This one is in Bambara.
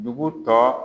Dugu tɔ